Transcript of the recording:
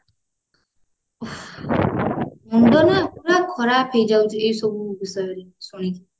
ମୁଣ୍ଡ ନା ପୁରା ଖରାପ ହେଇ ଯାଉଛି ଏଇସବୁ ବିଷୟରେ ଶୁଣିକି